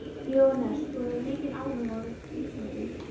Jóhannes: Þú hefur mikinn áhuga á íþróttum?